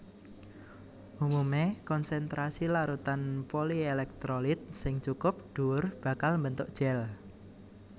Umumé konsènstrasi larutan polièlèktrolit sing cukup dhuwur bakal mbentuk gèl